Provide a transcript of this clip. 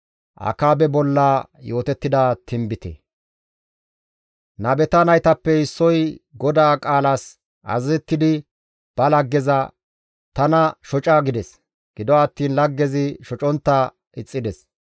Nabeta naytappe issoy GODAA qaalas azazettidi ba laggeza, «Tana shoca» gides; gido attiin laggezi shocontta ixxides.